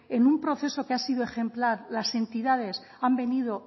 en un proceso que ha sido ejemplar las entidades han venido